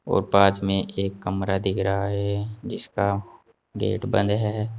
और बाद में एक कमरा दिख रहा है जिसका गेट बंद है।